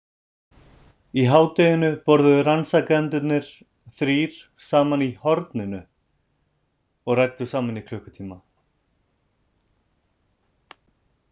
Í hádeginu borðuðu rannsakendurnir þrír saman í „horninu“ og ræddu saman í klukkutíma.